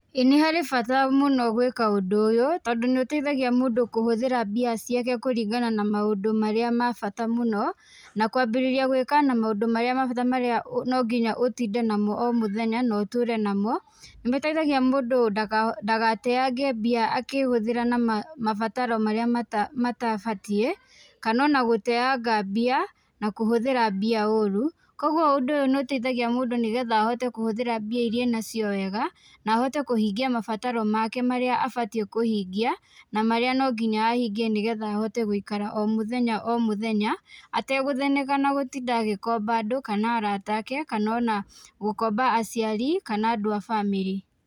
Ĩĩ nĩ harĩ bata mũno gwĩka ũndũ ũyũ, tondũ nĩ ũteithagia mũndũ kũhũthĩra mbia ciake kũringana na maũndũ marĩa ma bata mũno, na kwambĩrĩria gwĩka na maũndũ ma bata marĩa no nginya ũtinde namo o mũthenya na ũtũũre namo. Nĩ ĩteithagia mũndũ ndagateange mbia akĩhũthĩra na mabataro marĩa matabatiĩ, kana ona gũteanga mbia, na kũhũthĩra mbia ũũru. Kũguo ũndũ ũyũ nĩ ũteithagia mũndũ nĩ getha ahote kũhũthĩra mbia irĩa enacio wega, na ahote kũhingia mabataro make marĩa abatiĩ kũhingia, na marĩa no nginya ahingie nĩ getha ahote gũikara o mũthenya o mũthenya, ategũthĩnĩka na gũtinda agĩkomba andũ kana arata ake kana ona gũkomba aciari kana andũ a bamĩrĩ.